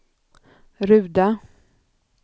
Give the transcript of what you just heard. Ruda